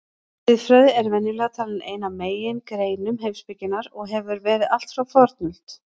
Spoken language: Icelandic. Siðfræði er venjulega talin ein af megingreinum heimspekinnar og hefur verið allt frá fornöld.